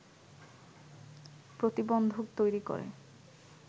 প্রতিবন্ধক তৈরি করে